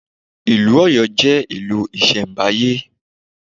Ìlú Ọ̀yọ́ jẹ́ ìlú ìṣẹ̀mbáyé.